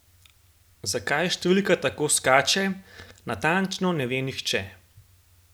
Zakaj številka tako skače, natančno ne ve nihče.